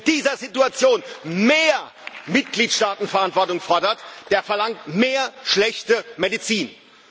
Und wer in dieser Situation mehr Mitgliedstaatenverantwortung fordert, der verlangt mehr schlechte Medizin.